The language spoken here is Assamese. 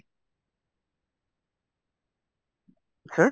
sir